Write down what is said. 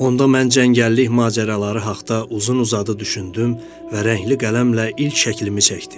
Onda mən cəngəllik macəraları haqda uzun-uzadı düşündüm və rəngli qələmlə ilk şəklimi çəkdim.